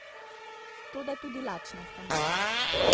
Toda tudi lačna sem.